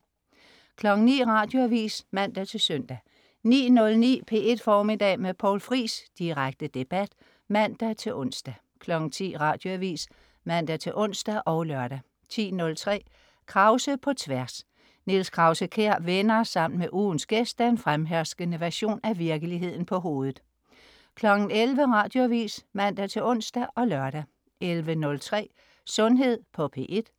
09.00 Radioavis (man-søn) 09.09 P1 Formiddag med Poul Friis. Direkte debat (man-ons) 10.00 Radioavis (man-ons og lør) 10.03 Krause på Tværs. Niels Krause-Kjær vender sammen med ugens gæst den fremherskende version af virkeligheden på hovedet 11.00 Radioavis (man-ons og lør) 11.03 Sundhed på P1